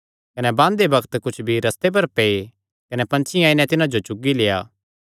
कने बांदेबांदे कुच्छ बीई रस्ते कंडे पै कने पंछियां आई नैं तिन्हां जो चुगी लेआ